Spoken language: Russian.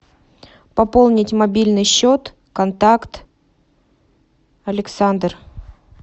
пополнить мобильный счет контакт александр